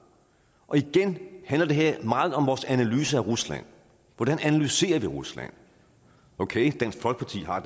og igen handler det her meget om vores analyse af rusland hvordan analyserer vi rusland okay dansk folkeparti har